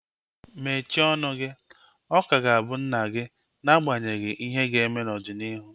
Mechie ọnụ gị! Ọ ka ga-abụ nna gị n'agbanyeghị ihe ga-eme n'ọdịnihu